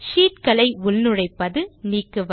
sheet களை உள்நுழைப்பது நீக்குவது